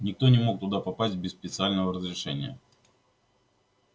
никто не мог туда попасть без специального разрешения